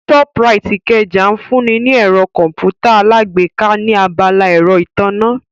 Shoprite Ikeja ń fún ni ní ẹ̀rọ Kọ̀m̀pútà alágbèéká ní abala ẹ̀rọ ìtànná